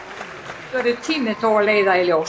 Það eitt verður tíminn þó að leiða í ljós.